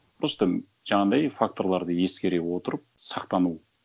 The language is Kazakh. просто жаңағындай факторларды ескере отырып сақтану